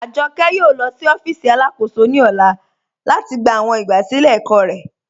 Ajọkẹ yóò lọ sí ọfíìsì alákóṣò ní ọlá lati gbà awọn igbásílẹ̀ ẹ̀kọ̀ rẹ.